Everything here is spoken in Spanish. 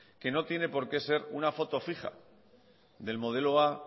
que no tiene por que sé una foto fija del modelo a